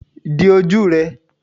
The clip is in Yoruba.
di oju rẹ!